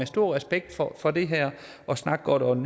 stor respekt for for det her at snakke godt om